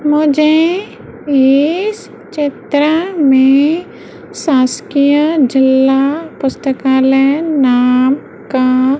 मुझे इस चित्र मे शासकीय जिला पुस्तकालय नाम का--